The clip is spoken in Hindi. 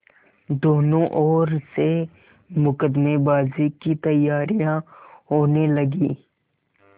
दोनों ओर से मुकदमेबाजी की तैयारियॉँ होने लगीं